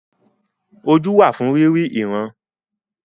Ojú wà fún rírí ìran.